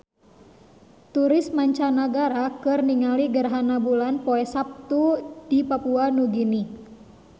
Turis mancanagara keur ningali gerhana bulan poe Saptu di Papua Nugini